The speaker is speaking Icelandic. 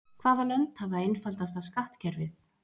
Hvaða lönd hafa einfaldasta skattkerfið?